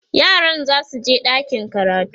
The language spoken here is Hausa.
yaran zasu je ɗakin karatu